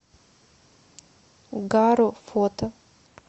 гаро фото